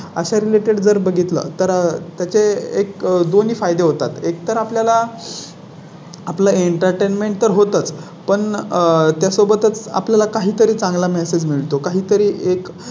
अशा Related जर बघितलं. तर त्याचे बारह फायदे होतात. एकतर आपल्या ला. आपला Entertainment तर होतंच पण आह त्या सोबतच आपल्या ला काही तरी चांगला Message